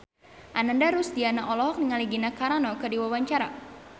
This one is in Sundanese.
Ananda Rusdiana olohok ningali Gina Carano keur diwawancara